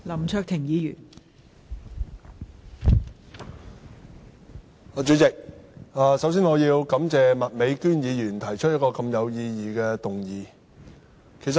代理主席，首先，我要感謝麥美娟議員提出一項如此有意義的議案。